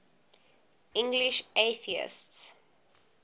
english atheists